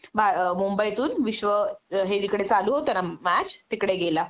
भा अ मुंबईतून विश्व हे जिकडे चालू होत ना मॅच तिकडे गेला